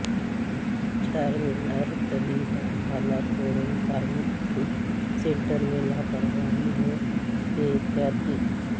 چارمینار طبی دواخانہ quarantine centre میں لاپرواہی و بے احتیاطی